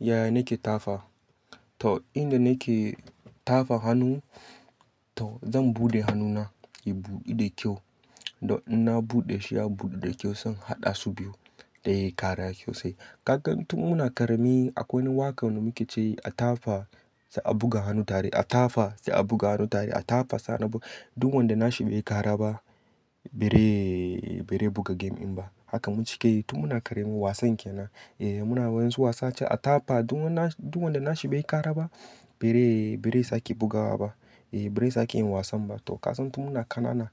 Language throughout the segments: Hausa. Yaya nake tafa? To, inda nake tafa hannu to zan buɗe hannuna, ya buɗu da kyau. Don in na buɗe shi ya buɗu da kyau, zan haɗa su biyu don yai kara sosaii. Kakan tun muna ƙarami akwai wani waƙa da muke ce a tafa sai a buga hannu tare, a tafa sai a buga hannu tare, a tafa sai a buga. Duk wanda na shi bai yi kara ba, bere, bere buga game in ba. Haka mun cika yi tun muna ƙarami. Wasan ke nan. Eh muna yawancin wasa cewa a tafa duk wanda na shi bai yi kara ba, bere, bere sake bugawa ba. Eh, bere sake yin wasan ba. To kasan tun muna ƙanana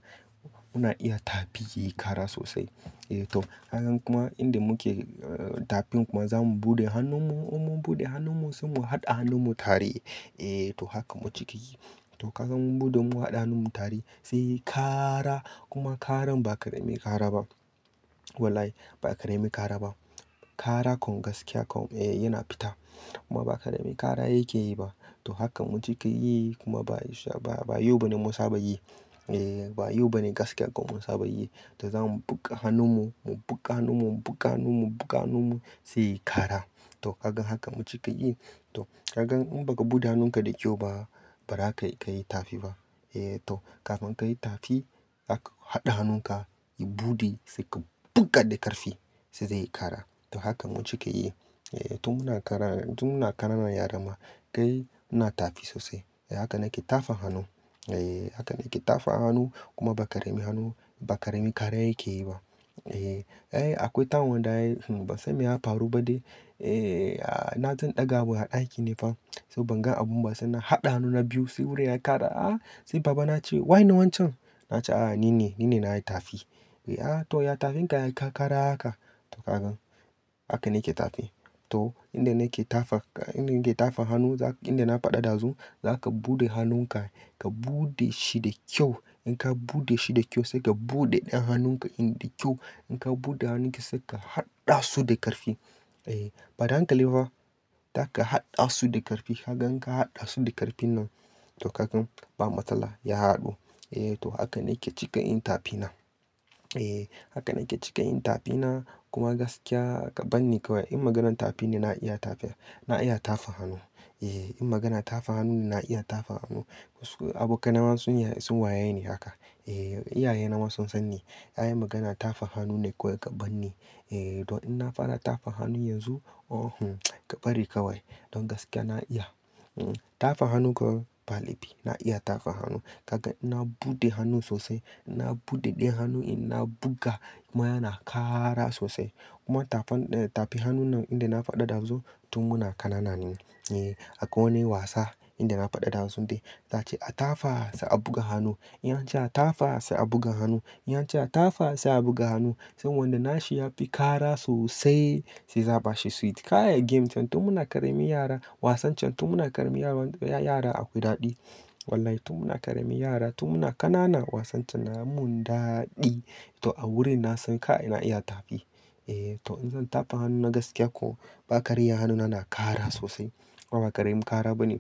muna iya tafi yayi kara sosai. Eh to, hakan kuma inda muke, ah, tafin kuma za mu buɗe hannunmu, mun buɗe hannunmu sai mu haɗa hannunmu tare. Eh to hakan mun cika yi. To kaga mu buɗe mu haɗa hannunmu tare sai yayi kara. Kuma karan ba ƙaramin kara ba. Wallahi ba ƙarami kara ba. Kara kam kaskiya kam, eh yana fita. Kuma ba ƙarami kara yake yi ba. To hakan mun cika yi kuma ba, ba yau bane mun saba yi. Eh ba yau bane gaskiya kuma mun saba yi. Eh to, hakan kuma inda muke, ah, tafin kuma za mu buɗe hannunmu, mun buɗe hannunmu sai mu haɗa hannunmu tare. Eh to hakan mun cika yi. To kaga inbaka buɗe hannun ka dakyau ba baza kayi tafi ba. Kafin kayi tafi zaka hada hanun ka ya bude sai ka buga da karfi sai yayi kara. To hakan mun cika yi. Eh tun muna ƙarama, tun muna ƙanana yarama kai muna tafi sosai. Haka nake tafa hannu. Eh haka nake tafa hannu kuma ba ƙarami hannu, ba ƙarami kara yake yi ba. Eh, ai akwai wata wanda ai ba san me ya faru ba dai. Eh nazo in ɗaga wani abu a daki ne fa sai ban ga abun ba sai na haɗa hannuna biyu sai wurin ya yi kara. A! Sai babana ya ce "Waye ne wancen?" Na ce "A ni ne, ni ne na yi tafi." "Eh a to ya tafin ka yayi kara haka." To kakan haka nake tafi. To inda nake tafa, inda nake tafa hannu, inda na faɗi dazu, za ka buɗe hannunka, ka buɗe shi da kyau. In ka buɗe shi da kyau sai ka buɗe ɗayan hannunka in da kyau. In ka buɗe hannunki sai ka haɗa su da ƙarfi. Eh, ba da hankali ba fa. Za ka haɗa su da ƙarfi. Haka in ka haɗa su da ƙarfin nan to kaga ba matsala, ya haɗu. Eh to haka nake cika yin tafina. Eh haka nake cika yin tafina kuma gaskiya kaganni kawai in maganar tafi ne na iya tafi. Na iya tafa hannu. Eh in magana tafa hannu ne na iya tafa hannu. Abokanai nama sun waye ni haka. Eh, iyaye na ma sun sanni ai magana tafa hannu ne kawai kabanni. Eh don in na fara tafa hannu yanzu, oh, ka bari kawai. Don gaskiya na iya, hm, tafa hannu kawai, ba laifi. Na iya tafa hannu. Kaga inna buɗe hannu sosai. Idan na buɗe ɗayan hannu inna buga kuma yana kara sosai. Kuma tafan, tafi hannun nan inda na faɗi dazu tun muna ƙanana ne. Eh akwai wani wasa inda na faɗi dazu dai. Zai ce a tafa sai a buga hannu. Idan ance a tafa sai a buga hannu. Yanci a tafa sai a buga hannu. Sai wanda na shi ya fi kara sosai sai za a bashi sweet. Kai game can tun muna ƙarami yara. Wasan can tun muna ƙarami yara akwai daɗi. Wallahi tun muna ƙarami yara, tun muna ƙanana wasan can na mun daɗi. To a wurin na sai ka, ina iya tafi. Eh to in zan tafa hannu na gaskiya ko ba ƙarya hannuna na kara sosai. Kuma ba ƙaramin kara bane.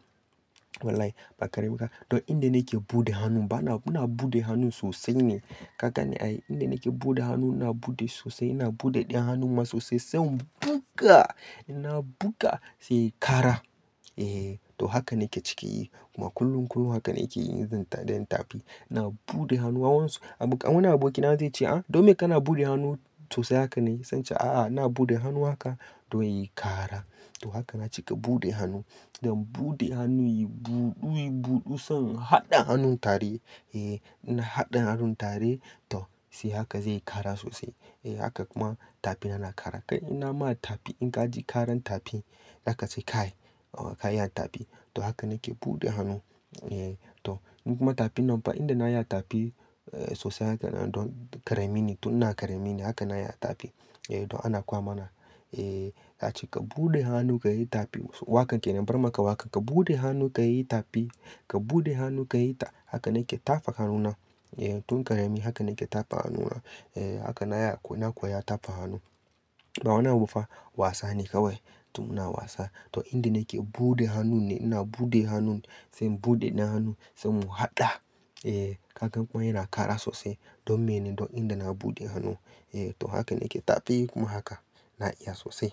Wallahi ba ƙaramin kara. Don inda nake buɗe hannu bana, ina buɗe hannun sosai ne. Ka gane ai inda nake buɗe hannu na buɗe sosai. Na buɗe ɗayan hannun ma sosai sai in buga. Ina buga sai yayi kara. Eh to haka nake cika yi. Kuma kullum, kullum haka nake yi in zan, idan tafi. Na buɗe hannuwa wansu. Abokan, wani abokina zai ce "A! Don me kana buɗe hannu sosai haka ne?" Zan ce "A'a, na buɗe hannu haka don yayi kara." To haka na cika buɗe hannu. Don buɗe hannu yayi buɗu, yayi buɗu sai mu in haɗa hannun tare. Eh idan na haɗa hannun tare to sai haka zai yi kara sosai. Eh haka kuma tafina na kara. Kai in na ma tafi in ka ji karan tafin zaka ce kai ka iya tafi. To haka nake buɗe hannu. Eh to kuma tafin nan ba inda na iya tafi sosai haka tun ƙarami ne. Tun ina ƙarami ne haka na yi tafi. Eh don ana koya mana. Eh za ace ka buɗe hannu ka yi tafi. Wakan kenan bari in maka waƙar "Ka buɗe hannu ka yi tafi, ka buɗe hannu ka yi ta "Haka nake tafan hannuna. Eh tun ƙarami haka nake tafan hannuna. Eh haka na yi, na koyi tafa hannu. Ba wani abu ba. Wasane kawai. Tun muna wasa. To inda nake buɗe hannun ne. Ina buɗe hannun, sai in buɗe hannu sai mu haɗa. Eh kaga kuma yana kara sosai. Don mene? Don inda na buɗe hannu. Eh to haka nake tafi kuma haka na iya sosai.